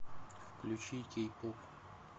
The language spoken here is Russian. включи кей поп